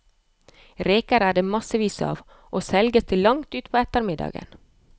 Reker er det massevis av, og selges til langt utpå ettermiddagen.